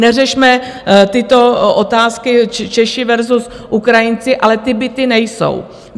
Neřešme tyto otázky Češi versus Ukrajinci, ale ty byty nejsou.